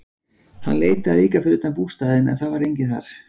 Hann leitaði líka fyrir utan bústaðinn en það var enginn þar.